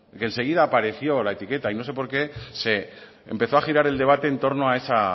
que enseguida apareció la etiqueta y no porqué se empezó a girar el debate en torno a esa